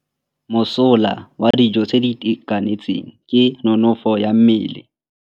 Mosola wa dijô tse di itekanetseng ke nonôfô ya mmele.